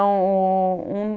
o... Um